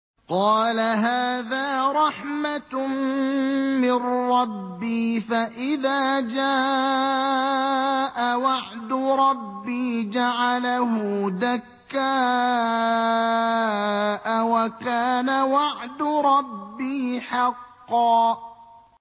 قَالَ هَٰذَا رَحْمَةٌ مِّن رَّبِّي ۖ فَإِذَا جَاءَ وَعْدُ رَبِّي جَعَلَهُ دَكَّاءَ ۖ وَكَانَ وَعْدُ رَبِّي حَقًّا